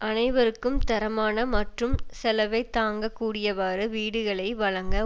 அனைவருக்கும் தரமான மற்றும் செலவைத் தாங்க கூடியவாறு வீடுகளை வழங்க